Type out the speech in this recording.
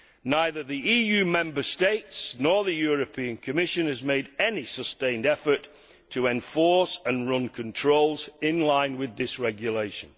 Neither the EU Member States nor the Commission have made any sustained effort to enforce and run controls in line with this regulation.